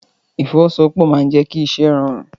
Ìfọwọ́sowọ́pọ̀ máa n jẹ kí iṣẹ rọrun.